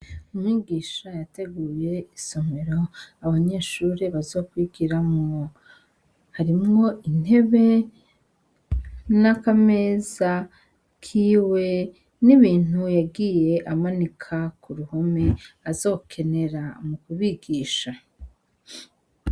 Umwigisha yateguye isomero abanyeshure bazokwigiramwo harimwo intebe nakameza kiwe nibintu yagiye amanika kuruhome azokenera mukubigisha